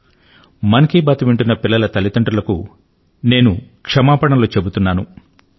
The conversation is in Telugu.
మన్ కీ బాత్ మనసు లో మాట ను వింటున్న పిల్లల తల్లిదండ్రులకు నేను క్షమాపణలు చెబుతున్నాను